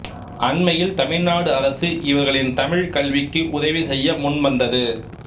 அண்மையில் தமிழ்நாடு அரசு இவர்களின் தமிழ்க் கல்விக்கு உதவிசெய்ய முன்வந்தது